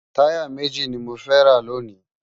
Tàyá méji ni mó fè rá lóni